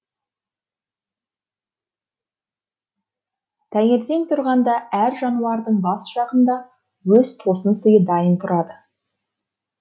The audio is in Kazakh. таңертең тұрғанда әр жануардың бас жағында өз тосын сыйы дайын тұрады